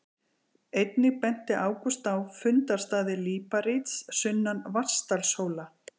Einnig benti Ágúst á fundarstaði líparíts sunnan Vatnsdalshóla.